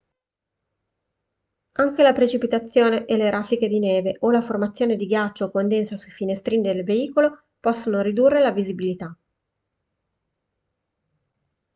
anche la precipitazione e le raffiche di neve o la formazione di ghiaccio o condensa sui finestrini del veicolo possono ridurre la visibilità